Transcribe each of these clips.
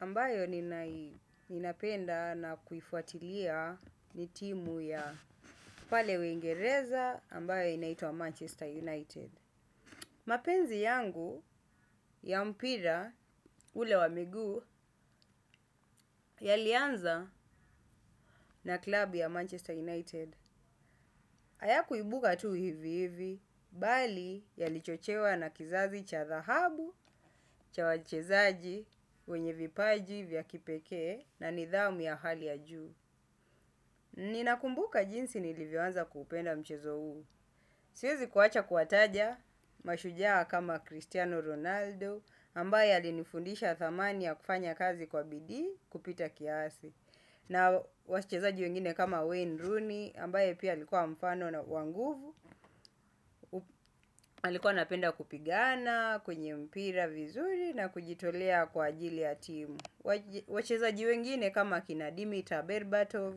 Ambayo ninapenda na kuifuatilia ni timu ya pale uingereza ambayo inaitwa Manchester United. Mapenzi yangu ya mpira ule wa miguu yalianza na klabu ya Manchester United. Hayakuibuka tu hivi hivi, bali yalichochewa na kizazi cha dhahabu, cha wachezaji, wenye vipaji vya kipekee na nidhamu ya hali ya juu. Ninakumbuka jinsi nilivyoanza kuupenda mchezo huu. Siezi kuwacha kuwataja mashujaa kama Cristiano Ronaldo, ambaye alinifundisha thamani ya kufanya kazi kwa bidii kupita kiasi. Na wachezaji wengine kama Wayne Rooney, ambaye pia alikuwa mfano na wa nguvu, alikuwa anapenda kupigana, kwenye mpira vizuri na kujitolea kwa ajili ya timu. Wachezaji wengine kama kina Dimitra Berbatov,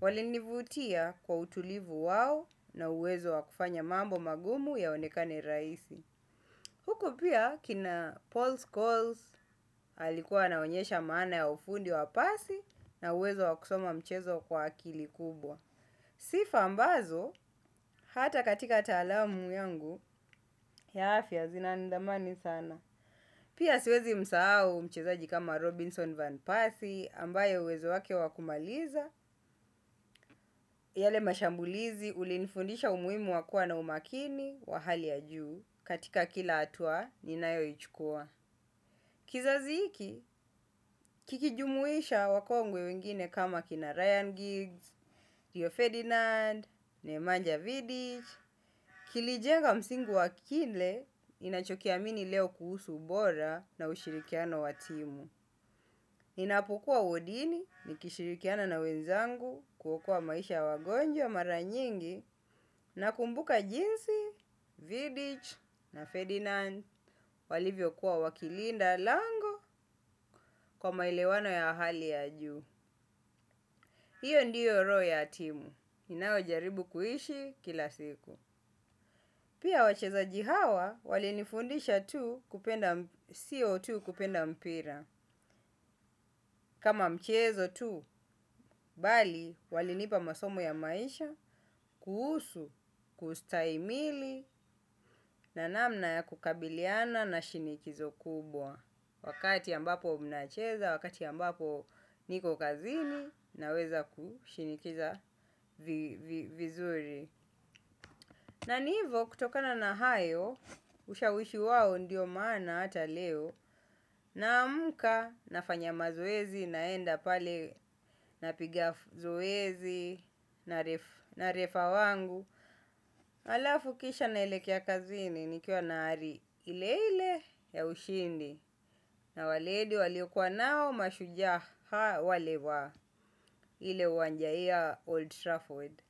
walinivutia kwa utulivu wao na uwezo wa kufanya mambo magumu yaonekane rahisi. Huko pia kina Paul Scholes, alikuwa anaonyesha maana ya ufundi wa pasi na uwezo wa kusoma mchezo kwa akili kubwa. Sifa ambazo, hata katika taalamu yangu, ya afya zinanidhamani sana. Pia siwezi msahau mchezaji kama Robinson Van Pasi ambaye uwezo wake wa kumaliza, yale mashambulizi ulinifundisha umuhimu wa kuwa na umakini wa hali ya juu katika kila hatua ninayoichukua. Kizazi hiki, kikijumuisha wakongwe wengine kama kina Ryan Giggs, Rio Ferdinand, Nemanja Vidich, kilijenga msingi wa kile ninachokiamini leo kuhusu ubora na ushirikiano wa timu. Ninapokua wodini, nikishirikiana na wenzangu, kuokua maisha ya wagonjwa mara nyingi, nakumbuka jinsi, vidich na Ferdinand, walivyokuwa wakilinda, lango kwa maelewano ya hali ya juu. Hiyo ndiyo roho ya timu, inayo jaribu kuishi kila siku. Pia wachezaji hawa walinifundisha tu sio tu kupenda mpira. Kama mchezo tu, bali walinipa masomo ya maisha, kuhusu, kustahimili, na namna ya kukabiliana na shinikizo kubwa. Wakati ambapo mnacheza, wakati ambapo niko kazini naweza kushinikiza vizuri. Na ni hivo kutokana na hayo ushawishi wao ndio maana hata leo. Naamka nafanya mazoezi naenda pale napiga zoezi na refa wangu. Alafu kisha naelekea kazini nikiwa na ari ile ile ya ushindi na waledi waliokua nao washujaa waliokua nao mashujaa wa ile uwanja ya old trafford.